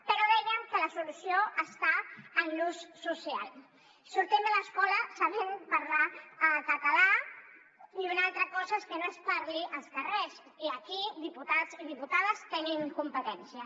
però dèiem que la solució està en l’ús social sortim de l’escola sabent parlar català i una altra cosa és que no es parli als carrers i aquí diputats i diputades hi tenim competències